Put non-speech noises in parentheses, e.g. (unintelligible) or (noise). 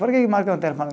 Por que que marca (unintelligible)